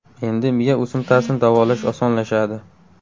Endi miya o‘simtasini davolash osonlashadi.